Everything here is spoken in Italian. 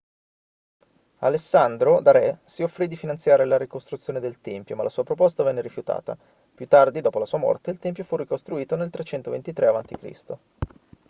alessandro da re si offrì di finanziare la ricostruzione del tempio ma la sua proposta venne rifiutata più tardi dopo la sua morte il tempio fu ricostruito nel 323 a.c